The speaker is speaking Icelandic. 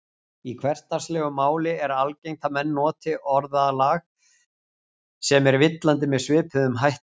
Í hversdagslegu máli er algengt að menn noti orðalag sem er villandi með svipuðum hætti.